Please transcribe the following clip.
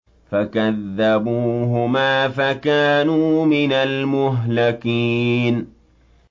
فَكَذَّبُوهُمَا فَكَانُوا مِنَ الْمُهْلَكِينَ